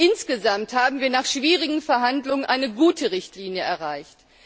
Insgesamt haben wir nach schwierigen Verhandlungen eine gute Richtlinie erreicht.